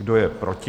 Kdo je proti?